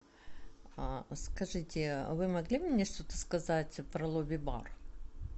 скажите вы могли бы мне что то сказать про лобби бар